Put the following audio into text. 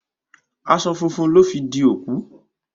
Aṣọ funfun lọ fi di òkú